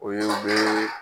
O ye o bee